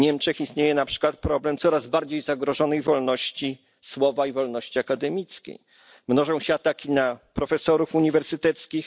W Niemczech istnieje na przykład problem coraz bardziej zagrożonej wolności słowa i wolności akademickiej, mnożą się ataki na profesorów uniwersyteckich.